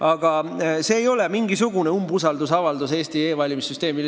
Aga see eelnõu ei ole mingisugune umbusaldusavaldus Eesti e-valimissüsteemile.